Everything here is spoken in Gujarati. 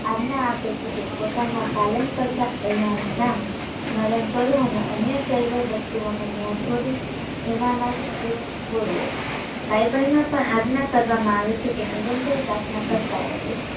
આજ્ઞા આપે છે કે પોતાના પાલન કરતા નું નામ સ્મરણ કરો અને અન્ય સર્વ વસ્તુઓનો મોહ છોડી એનામાં જ ચિત્ત પોરવો bible માં પણ આજ્ઞા કરવામા આવે છે કે નિરંતર પ્રાર્થના કરતાં રહે